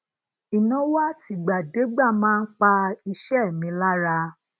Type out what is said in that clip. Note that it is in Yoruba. inawo atigbadegba maa n pa ise mi lara